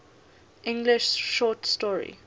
english short story